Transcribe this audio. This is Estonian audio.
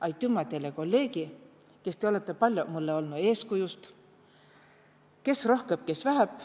Aitümä teile, kolleegi, kes te olõtõ paljo mulle olnu eeskujust, kes rohkõmb, kes vähämb.